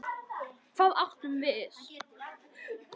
Hvað átum við?